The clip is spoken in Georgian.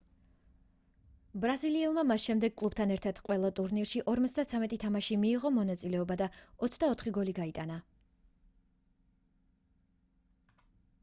ბრაზილიელმა მას შემდეგ კლუბთან ერთად ყველა ტურნირში 53 თამაშში მიიღო მონაწილეობა და 24 გოლი გაიტანა